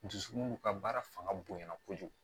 Dusukun ka baara fanga bonya kojugu